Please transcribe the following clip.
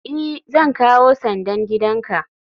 i, Zan kawo sandan gidanka